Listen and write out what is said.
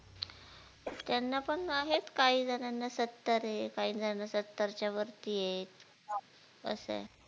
त्यांना पण आहेत, काहीजणांना सत्तरे काहीजण सत्तरच्या वरतियेत असेय